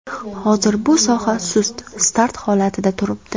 Hozir bu soha sust start holatida turibdi.